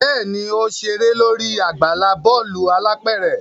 Bẹẹni, o ṣere lori agbala bọọlu alápẹrẹ